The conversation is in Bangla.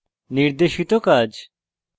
নির্দেশিত কাজ